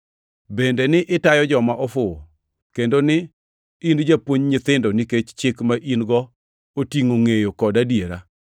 bende ni itayo joma ofuwo, kendo ni in japuonj nyithindo nikech Chik ma in-go otingʼo ngʼeyo kod adiera.